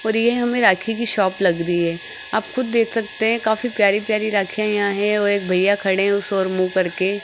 और ये हमें राखी की शॉप लग रही है आप खुद देख सकते हैं काफी प्यारी प्यारी राखियां यहां हैं और एक भैया खड़े हैं उस ओर मुंह करके।